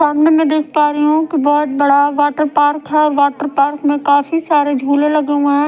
सामने मै देख पा रही हूं कि बहोत बड़ा वाटर पार्क है वाटर पार्क में काफी सारे झूले लगे हुए हैं।